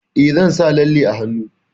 Eh, zan sa lalle a hannu.